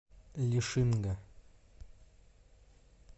лишинга